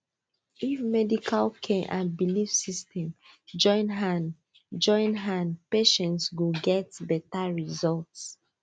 if medical care and belief system join hand join hand patient go get better result